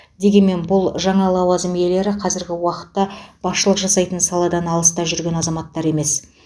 дегенмен бұл жаңа лауазым иелері қазіргі уақытта басшылық жасайтын саладан алыста жүрген азаматтар емес